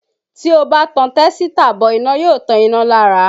Tí ó bá ti tẹ́sítà bọ iná yóò tan iná lára